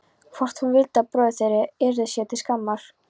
Hvort hún vildi að bróðir þeirra yrði sér til skammar?